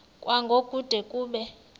kwango kude kube